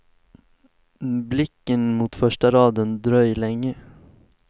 Blicken mot första raden, dröj längre.